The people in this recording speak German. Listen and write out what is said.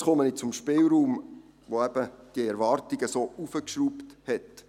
Nun komme ich zum Spielraum, der die Erwartungen so hoch hinaufgeschraubt hat.